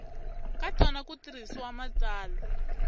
ka tona ku tirhisa matsalwa